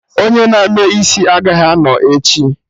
Onye na-eme isi agaghị anọ echi